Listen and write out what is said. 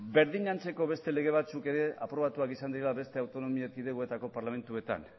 berdin antzeko beste lege batzuk ere aprobatuak izan direla beste autonomia erkidegoetako parlamentuetan